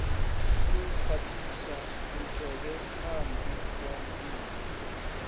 u khwaṱhisa mutevhethandu wa riṋe